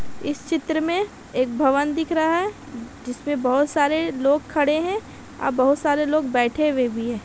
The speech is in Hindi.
इस चित्र में एक भवन दिख रहा है जिसपे बहुत सारे लोग खड़े हैं और बहुत सारे लोग बैठे हुए भी हैं।